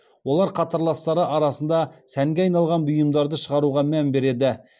олар қатарластары арасында сәнге айналған бұйымдарды шығаруға мән береді